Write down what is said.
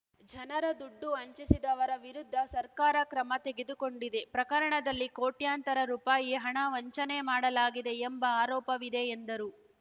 ಜನರ ದುಡ್ಡು ವಂಚಿಸಿದವರ ವಿರುದ್ಧ ಸರ್ಕಾರ ಕ್ರಮ ತೆಗೆದುಕೊಂಡಿದೆ ಪ್ರಕರಣದಲ್ಲಿ ಕೋಟ್ಯಂತರ ರುಪಾಯಿ ಹಣ ವಂಚನೆ ಮಾಡಲಾಗಿದೆ ಎಂಬ ಆರೋಪವಿದೆ ಎಂದರು